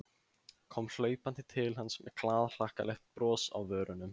Kom hlaupandi til hans með glaðhlakkalegt bros á vörunum.